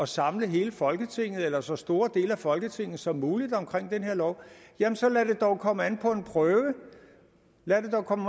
samle hele folketinget eller så store dele af folketinget som muligt omkring den her lov så lad det dog komme an på en prøve lad det dog komme